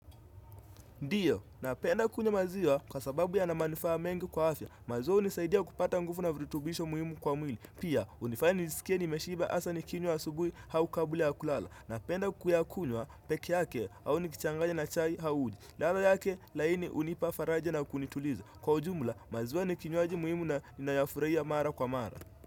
Ndiyo napenda kunywa maziwa kwa sababu yana manufaa mengi kwa afya maziwa unisaidia kupata nguvu na virutubisho muhimu kwa mwili pia unifanya nisikie nimeshiba hasa nikinywa asubui au kabla ya kulala napenda kuyakuywa peke yake au nikichanganya na chai au uji ladha yake laini hunipa faraja na kunituliza kwa ujumla maziwa ni kinywaji muhimu na nayafurahia mara kwa mara.